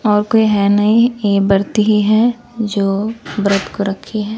और कोई है नहीं ये बरती ही ही जो ब्रत को रखी हैं।